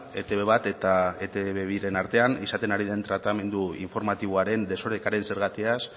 etb bat eta etb biren artean izaten ari den tratamendu informatiboaren desorekaren zergatiaz